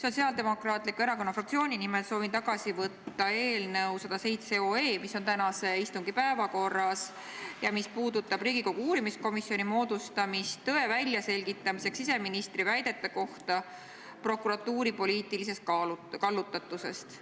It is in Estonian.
Sotsiaaldemokraatliku erakonna fraktsiooni nimel soovin tagasi võtta eelnõu 107, mis on tänase istungi päevakorras ja mis puudutab Riigikogu uurimiskomisjoni moodustamist tõe väljaselgitamiseks siseministri väidete kohta prokuratuuri poliitilisest kallutatusest.